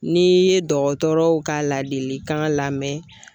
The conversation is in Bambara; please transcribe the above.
N'i ye dɔgɔtɔrɔw ka ladilikan lamɛn.